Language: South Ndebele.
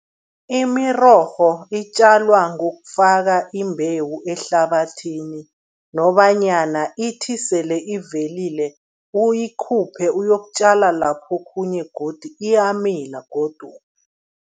Imirorho itjalwa ngokufaka imbewu ehlabathini nobanyana ithi sele ivelile, uyikhuphe uyokutjala laphokhunye godu, iyamila godu.